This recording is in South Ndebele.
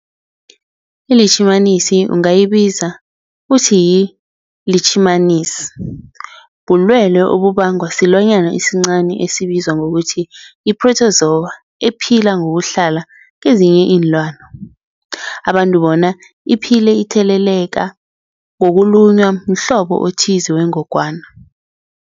iLitjhimanisi ungayibiza uthiyilitjhimanisi, bulwelwe obubangwa silwanyana esincani esibizwa ngokuthiyi-phrotozowa ephila ngokuhlala kezinye iinlwana, abantu bona iphile itheleleka ngokulunywa mhlobo othize wengogwana.